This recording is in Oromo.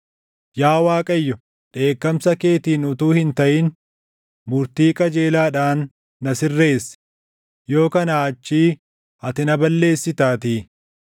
Yaa Waaqayyo dheekkamsa keetiin utuu hin taʼin, murtii qajeelaadhaan na sirreessi; yoo kanaa achii ati na balleessitaatii.